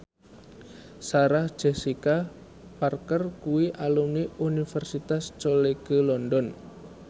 Sarah Jessica Parker kuwi alumni Universitas College London